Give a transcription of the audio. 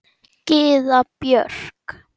Gyða Björk.